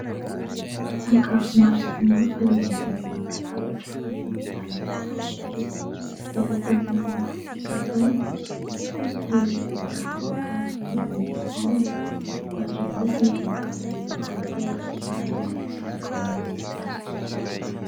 Sakafo maro samihafa eo ambony latabatra any amin'ny lanonana iray. Ahitana mofo dipaina ; misy kosa ireo voankazo toy ny paoma, ary misy ny voankazo efa voatetika ary mitsatotsatoka amin'ny hazo kely.